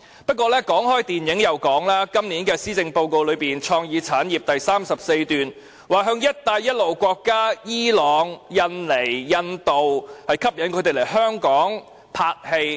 不過，談到電影，今年施政報告在有關創意產業的第34段提出，要吸引伊朗、印尼、印度等"一帶一路"沿線國家來港進行拍攝工作。